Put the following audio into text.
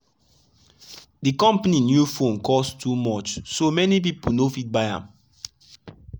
de company new phone cost too much so many people no fit buy am.